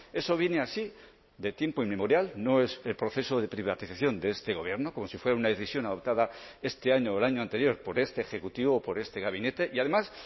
eso viene así de tiempo inmemorial no es el proceso de privatización de este gobierno como si fuera una decisión adoptada este año o el año anterior por este ejecutivo o por este gabinete y además